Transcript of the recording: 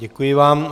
Děkuji vám.